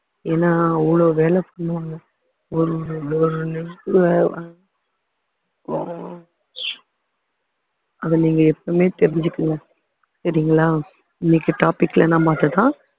ஏன்னா அவ்ளோ வேலை பண்ணுவாங்க அத நீங்க எப்பவுமே தெரிஞ்சுக்கங்க சரிங்களா இன்னைக்கு topic ல நாம அதுதான்